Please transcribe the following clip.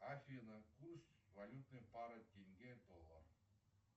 афина курс валютной пары тенге доллар